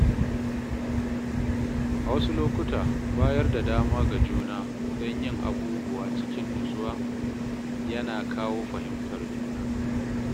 A wasu lokuta, bayar da dama ga juna don yin abubuwa cikin natsuwa yana kawo fahimtar juna.